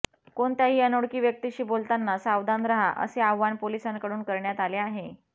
कोणत्याही अनोळखी व्यक्तीशी बोलताना सावधान रहा असे आवाहन पोलिसांकडून करण्यात आले आहे